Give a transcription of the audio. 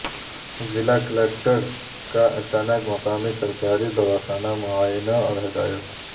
ضلع کلکٹرکا اچانک مقامی سرکاری دواخانہ کا معائنہ اور ہدایت